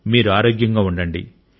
మీరు ఆరోగ్యంగా ఉండండి